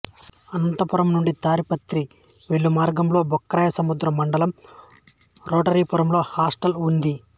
అనంతపురం నుండి తాడిపత్రి వెళ్ళే మార్గంలో బుక్కరాయసముద్రం మండలం రోటరీపురంలో హాస్టల్ ఉంది